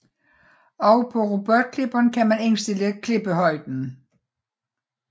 Også på robotklipperen kan man indstille klippehøjden